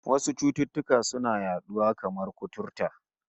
Wasu cututtukan suna yaduwa, kamar kuturta